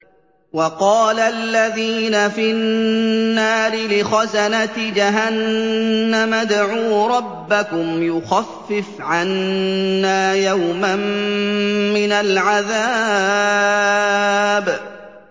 وَقَالَ الَّذِينَ فِي النَّارِ لِخَزَنَةِ جَهَنَّمَ ادْعُوا رَبَّكُمْ يُخَفِّفْ عَنَّا يَوْمًا مِّنَ الْعَذَابِ